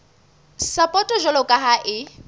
sapoto jwalo ka ha e